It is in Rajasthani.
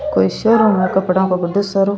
कोई शोरूम है कपडा काबड्डो सारो।